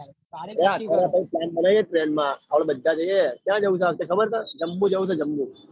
હ જમ્બુ જાંજવું સ જમ્બુ.